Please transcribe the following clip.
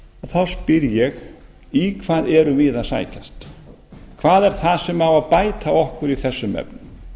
þá spyr ég í hvað erum við að sækjast hvað er það sem á að bæta okkur í þessum efnum